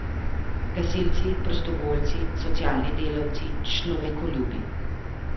Gasilci, prostovoljci, socialni delavci, človekoljubi.